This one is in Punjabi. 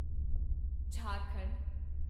ਝਾਰਖੰਡ